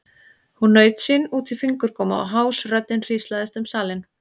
Hún naut sín út í fingurgóma og hás röddin hríslaðist um salinn.